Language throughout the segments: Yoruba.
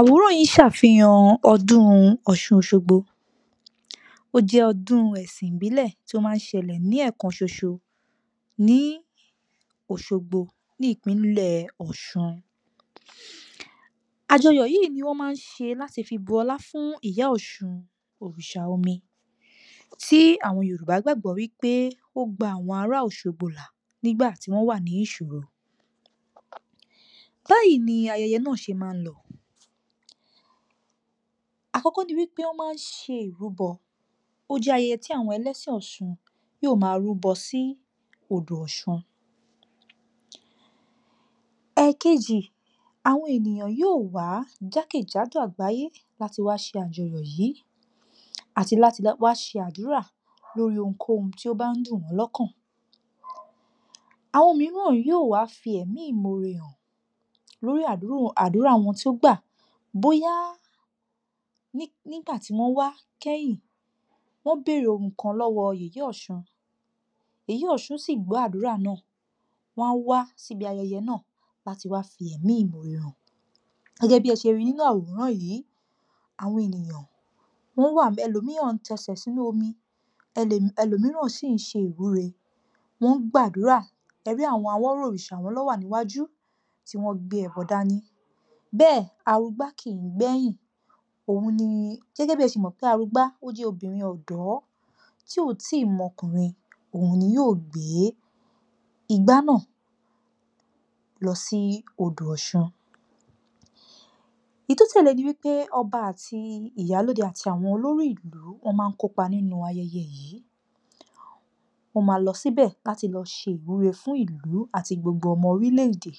Àwòrán yìí ń ṣàfihàn ọdún Ọ̀ṣun Òṣogbo. Ó jẹ́ ọdún ẹ̀sìn ìbílẹ̀ tó máa ń ṣẹlẹ̀ ní ẹ̀ẹ̀kan ṣoṣo, ní Òṣogbo, ní ìpínlẹ̀ Ọ̀ṣun. Àjọyọ̀ yìí ní wọ́n máa ń ṣe láti fi bun ọlá fún ìyá ọ̀ṣun òrìṣà omi, tí àwọn Yorùbá gbàgbọ́ wípé ó gba àwọn ará òṣogbo là, nígbà tí wọ́n wà nínú ìṣòro. Báyìí ni ayẹyẹ náà ṣe máa ń lọ. Àkọkọ ni wípé wón máa ṣe ìrúbọ, ó jẹ́ ayẹyẹ tí àwọn ẹlẹ́sìn ọ̀ṣun yóò máa rúbọ sí odò ọ̀ṣun. Ẹ̀kejí, àwọn ènìyàn yóò wá jákèjádò àgbáyé láti wá ṣe àjọyọ̀ yìí àti láti wá ṣe àdúrà lórí ohun kóhun tó bá ń dùn wọ́n lọ́kan, àwọn mìíràn yóò wá fi ẹ̀mí ìmoore hàn lórí àdúrà wọn tó gbà, bóyá ní, nígbà tí wọ́n wá kẹ́yìn, wọ́n béèrè ohun kan lọ́wọ́ yèyé ọ̀ṣun, yèyé ọ̀ṣun sì gbọ́ àdúrà náà, wọn á wá síbi ayẹyẹ náà láti wá fi ẹ̀mí ìmoore hàn. Gẹ́gẹ́ bí ẹ ṣe ri nínú àwòrán yìí, àwọn ènìyàn, wọ́n wà ńbẹ̀, ẹlòmíràn ń tẹsẹ̀ sínú omi, elè, ẹlòmíràn sì ń ṣe ìwúre, wọ́n ń gbàdúrà, e rí àwọn awọ́rò òrìṣà, àwọn náà wà níwájú tí wọ́n gbé ẹbọ dání, bẹ́ẹ̀ arugbá kì í gbẹ̀yìn, òun ni, gẹ́gẹ́ bí ẹ ṣe mọ̀ pé arugbá, ó jẹ́ obìnrin ọ̀dọ́ tí ò tí ì mọ ọkùnrin, òun ni yóò gbé igbá náà lọ sí odò ọ̀ṣun. Èyí tó tẹ̀lẹ́ ni wípé ọba àti ìyálóde àti àwọn olórí ìlú wọ́n máa ń kópa nínú ayẹyẹ yìí, wọ́n máa lọ síbẹ̀ láti lọ ṣe ìwúre fún ìlú àti gbogbo ọmọ orílẹ̀-èdè.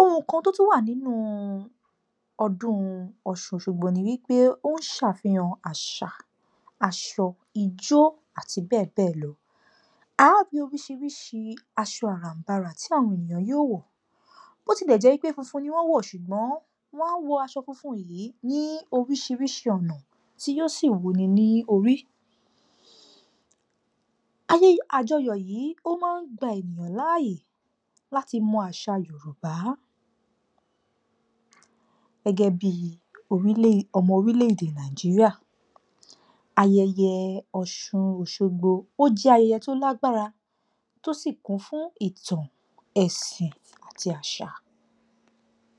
Ohun kan tó tún wà nínú ọdún ọ̀ṣun òṣogbo ni wípé ó ń ṣàfihàn àṣà, aṣọ, ijó àti bẹ́ẹ̀ bẹ́ẹ̀ lọ. A ó rí oríṣiríṣi aṣọ àrànbarà tí àwọn ènìyàn yóò wò, bó tilẹ̀ jẹ́ wípé funfun ni wọn wò, ṣùgbọ́n wọ́n a wọ aṣọ funfun yìí ní oríṣiríṣi ọ̀nà, tí yóò sì wú ni ní orí. Ayẹyẹ, àjọyọ̀ yìí ó máa gba èèyàn láàyè láti mọ àṣà Yorùbá, gẹ́gẹ́ bí orílẹ̀-èdè, ọmọ orílẹ̀-èdè Nàìjíríà, ayẹyẹ ọ̀ṣun òṣogbo, ó jẹ́ ayẹyẹ tó lágbára, tó sì kún fún ìtàn, ẹ̀sìn àti àṣà